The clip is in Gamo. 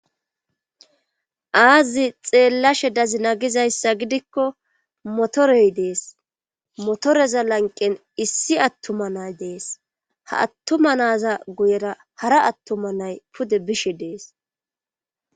aazi xeelashe dazina gizayssa gidikko motoree dees motoreza lanqqen issi attuma nay dees. ha atuma naza goyera hara attuma nay pude biishe des.